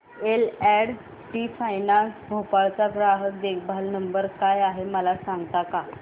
L and T finance Bhopal चा ग्राहक देखभाल नंबर काय आहे मला सांगता का